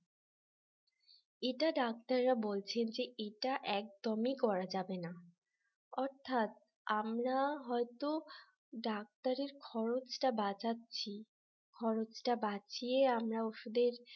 এটা ডাক্তাররা বলছেন যে এটা একদমই করা যাবে না। অর্থাৎ আমরা হয়তো ডাক্তারের খরচটা বাঁচাচ্ছি খরচটা বাঁচিয়ে আমরা ওষুধের